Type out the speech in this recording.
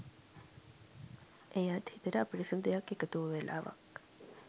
එයත් හිතට අපිරිසිදු දෙයක් එකතු වූ වෙලාවක්.